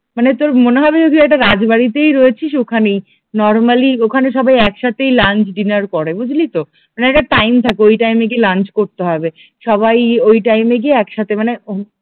মানে তোর মনে হবে যে তুই একটা রাজবাড়িতেই রয়েছিস ওখানেই নরমালি ওখানে সবাই একসাথেই লাঞ্চ ডিনার করে বুঝলি তো? মানে ওখানে একটা টাইম থাকে ওই টাইম এ গিয়ে লাঞ্চ করতে হবে, সবাই ওই টাইম এ গিয়ে একসাথে মানে